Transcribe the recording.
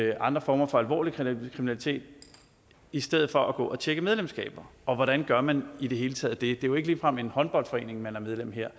og andre former for alvorlig kriminalitet i stedet for at gå og tjekke medlemskaber og hvordan gør man i det hele taget det det er jo ikke ligefrem en håndboldforening man er medlem af her